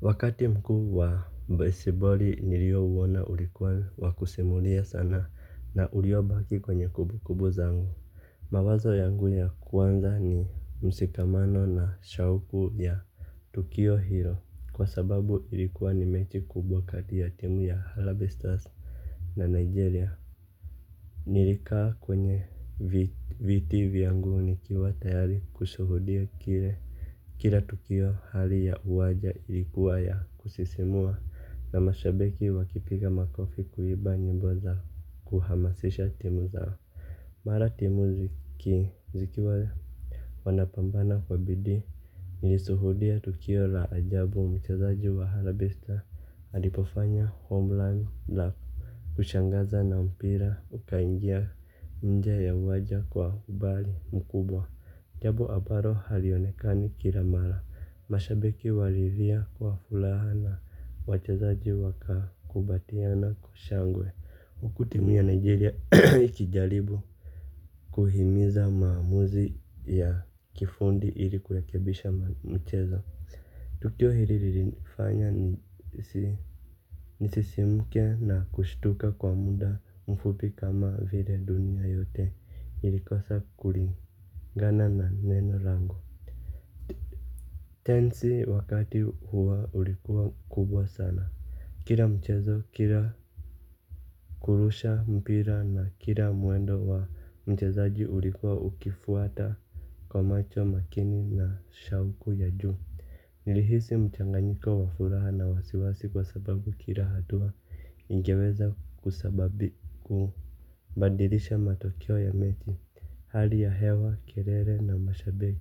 Wakati mkuu wa baseball niliouona ulikuwa wa kusimulia sana na uliobaki kwenye kumbukumbu zangu. Mawazo yangu ya kwanza ni mshikamano na shauku ya tukio hilo kwa sababu ilikuwa ni mechi kubwa kati ya timu ya harambee stars na nigeria. Nilikaa kwenye viti vyangu nikiwa tayari kushuhudia kile. Kila tukio hali ya uwaja ilikuwa ya kusisimua na mashabiki wakipiga makofi kuimba nyimbo zao kuhamasisha timu zao. Mara timu zikiwa wanapambana kwa bidii nilishuhudia tukio la ajabu mchezaji wa harambee stars Alipofanya Homeland La Kushangaza na mpira ukaingia nje ya uwanja kwa umbali mkubwa. Jambo ambalo halionekani kila mara mashabiki walilia kwa furaha na wachezaji waka kumbatiana kwa shangwe huku timu ya Nigeria ikijaribu kuhimiza maamuzi ya kifundi ili kurekebisha mchezo. Tukio lilinifanya nisisimuke na kushtuka kwa muda mfupi kama vile dunia yote ilikosa kulingana na neno langu. Tensi wakati huwa ulikuwa kubwa sana. Kila mchezo, kila kurusha mpira na kila mwendo wa mchezaji ulikuwa ukifuata kwa macho makini na shauku ya juu. Nilihisi mchanganyiko wa furaha na wasiwasi kwa sababu kila hatua ingeweza kusababi kubadilisha matokeo ya mechi, hali ya hewa, kelele na mashabiki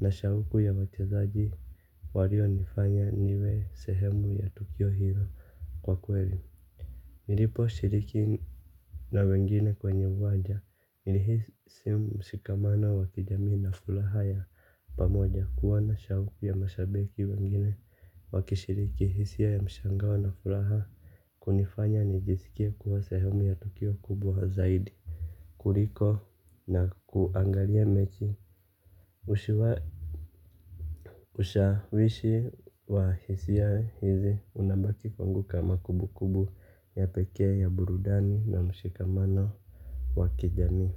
na shauku ya wachazaji walio nifanya niwe sehemu ya tukio hila kwa kweli. Nilipo shiriki na wengine kwenye uwanja, nilihisi mshikamano wa kijamii na furaha ya pamoja kuona shauku ya mashabiki wengine wakishiriki hisia ya mshangao na furaha kunifanya nijisikie kuwa sehemu ya tukio kubwa zaidi kuliko na kuangalia mechi ushawishi wa hisia hizi unabaki kwangu kama kumbukumbu ya pekee ya burudani na mshikamano wa kijamii.